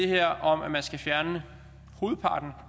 her om at man skal fjerne hovedparten